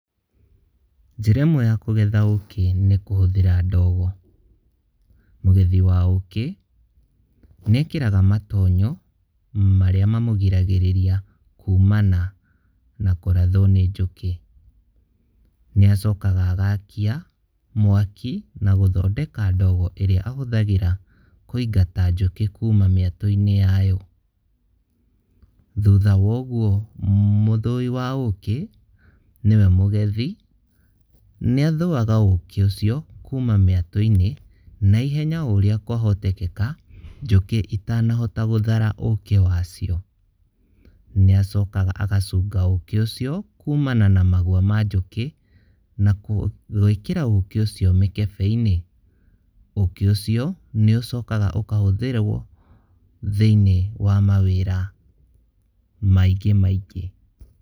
Njĩra imwe ya kũgetha ũkĩ nĩ kũhũthĩra ndogo. Mũgethi wa ũkĩ nĩekagĩra matonyo marĩa mamũgiragĩrĩria kũmana na kũrathwo nĩ njũkĩ, nĩacokaga agakia mwaki nagũthondeka ndogo ĩrĩa ahũthagĩra kũingata njũkĩ kũma mĩatũ-inĩ yao. Thũtha wogũo mũthũi wa ũkĩ niwe mũgethi nĩathuaga ũkĩ ũcio kũma mĩatũ-inĩ naihenya ũrĩa kwahotekeka njũkĩ itanahota gũthara ũkĩ wacio, nĩacokaga agacũnga ũkĩ ũcio kũmana na magũa ma njũkĩ na gwĩkĩra ũkĩ ũcio mĩkebe-inĩ. Ũkĩ ũcio nĩũcokaga ũkahũthĩrwo thĩiniĩ wa mawĩra maingĩ maingĩ.